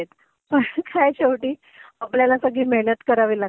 ter काय शेवटी आपल्याला सगळी मेहनत करावी लागते.